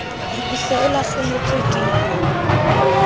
o se o lahlehetswe ke